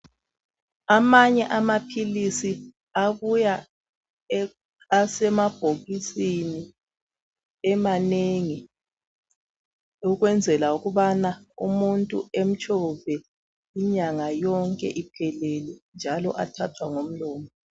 Amanye amaphilisi abuya asemabhokisini emanengi ukwenzela ukubana umuntu emtshove inyanga yonke iphelele njalo athathwa ngomlomo.